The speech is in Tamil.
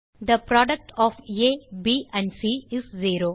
they product of a b and c is zero